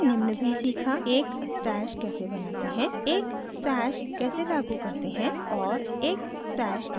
हमने निम्न भी सीखेंगे: